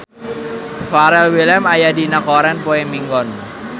Pharrell Williams aya dina koran poe Minggon